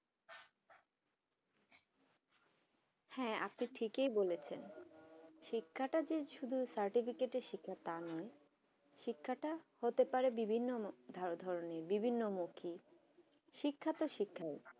হ্যাঁ আপু আজকে ঠিকই বলেছেন শিক্ষাতে শুধু certificate শিক্ষা তাই নয় শিক্ষতা হতে পারে বিভিন ধরনে বিভিন্নমুখী শিক্ষা তো শিক্ষা